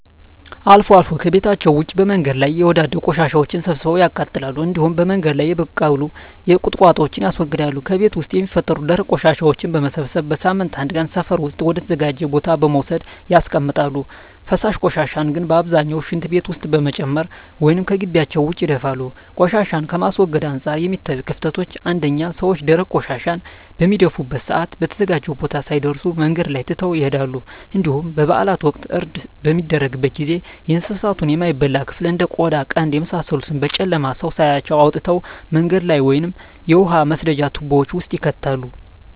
አልፎ አልፎ ከቤታቸዉ ውጭ በመንገድ ላይ የወዳደቁ ቆሻሻወችን ሰብስበው ያቃጥላሉ እንዲሁም በመንገድ ላይ የበቀሉ ቁጥቋጦወችን ያስወግዳሉ። ከቤት ውስጥ የሚፈጠሩ ደረቅ ቆሻሻወችን በመሰብሰብ በሳምንት አንድ ቀን ሰፈር ውስጥ ወደ ተዘጋጀ ቦታ በመውሰድ ያስቀምጣሉ። ፈሳሽ ቆሻሻን ግን በአብዛኛው ሽንት ቤት ውስጥ በመጨመር ወይም ከጊቢያቸው ውጭ ይደፋሉ። ቆሻሻን ከማስወገድ አንፃር የሚታዩት ክፍተቶች አንደኛ ሰወች ደረቅ ቆሻሻን በሚደፉበት ሰአት በተዘጋጀው ቦታ ሳይደርሱ መንገድ ላይ ትተው ይሄዳሉ እንዲሁም በበአላት ወቅት እርድ በሚደረግበት ጊዜ የእንሳቱን የማይበላ ክፍል እንደ ቆዳ ቀንድ የመሳሰሉትን በጨለማ ሰው ሳያያቸው አውጥተው መንገድ ላይ ወይም የውሃ መስደጃ ትቦወች ውስጥ ይከታሉ።